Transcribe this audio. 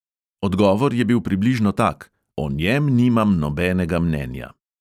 Odgovor je bil približno tak: "o njem nimam nobenega mnenja."